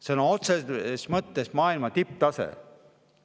Sõna otseses mõttes maailma tipptase!